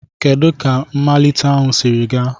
Kedu ka mmalite ahụ siri gaa?